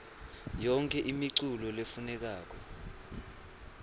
yonkhe imiculu lefunekako